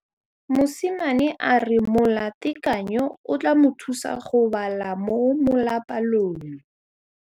Mosimane a re molatekanyô o tla mo thusa go bala mo molapalong.